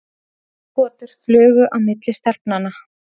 Augnagotur flugu á milli stelpnanna.